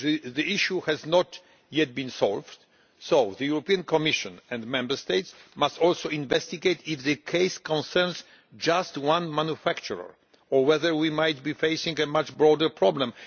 The issue has not yet been resolved, so the Commission and Member States must also investigate whether the case concerns just one manufacturer or whether we might be facing a much broader problem.